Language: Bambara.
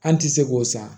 An ti se k'o san